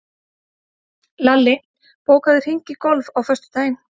Lalli, bókaðu hring í golf á föstudaginn.